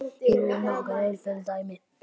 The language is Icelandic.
Hér eru nokkur einföld dæmi